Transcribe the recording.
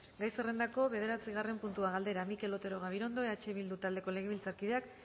gai zerrendako bederatzigarren puntua galdera mikel otero gabirondo eh bildu taldeko legebiltzarkideak